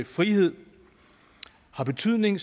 frihed har betydning